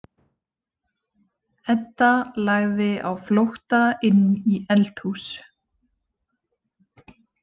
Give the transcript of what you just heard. Edda lagði á flótta inn í eldhús.